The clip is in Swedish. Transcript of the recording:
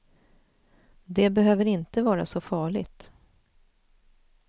Det behöver inte vara så farligt.